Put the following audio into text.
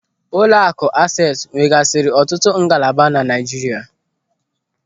Ụlọakụ Ases nwegasiri ọtụtụ ngalaba na Naijiria.